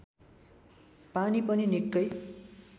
पानी पनि निकै